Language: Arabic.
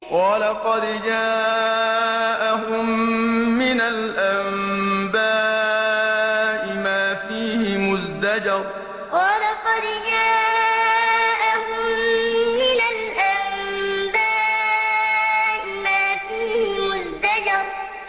وَلَقَدْ جَاءَهُم مِّنَ الْأَنبَاءِ مَا فِيهِ مُزْدَجَرٌ وَلَقَدْ جَاءَهُم مِّنَ الْأَنبَاءِ مَا فِيهِ مُزْدَجَرٌ